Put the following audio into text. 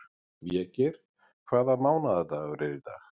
Végeir, hvaða mánaðardagur er í dag?